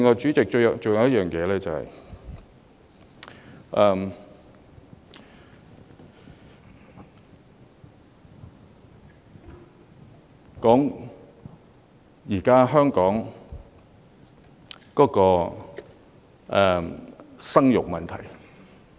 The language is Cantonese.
主席，最後還有一點，是關於現時香港的生育問題。